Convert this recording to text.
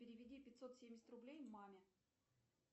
переведи пятьсот семьдесят рублей маме